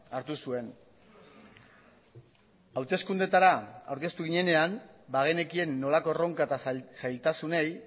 hartu zuen hauteskundeetara aurkeztu ginenean bagenekien nolako erronka eta zailtasunei